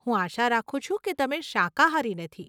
હું આશા રાખું છું કે તમે શાકાહારી નથી.